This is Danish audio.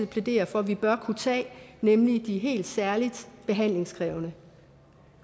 plæderer for vi bør kunne tage nemlig de helt særlig behandlingskrævende